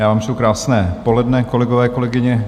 Já vám přeju krásné poledne, kolegové, kolegyně.